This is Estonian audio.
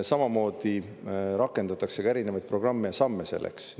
Samamoodi rakendatakse ka erinevaid programme ja samme selleks.